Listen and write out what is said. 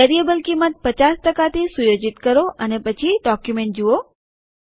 variable કિંમત ૫૦ થી સુયોજિત કરો અને પછી ડોક્યુમેન્ટ જુઓ